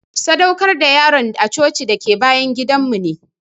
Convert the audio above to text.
sadaukar da yaron a coci dake bayan gidan mu ne.